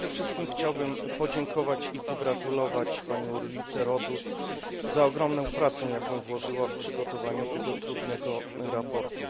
Przede wszystkim chciałbym podziękować i pogratulować pani Ulrice Rodust za ogromną pracę, jaką włożyła w przygotowanie tego trudnego sprawozdania.